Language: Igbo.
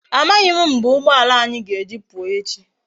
Amaghi m mgbe ugboala anyi ga eji puo echi